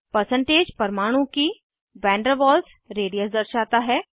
percentage परमाणु की van der Waals radius दर्शाता है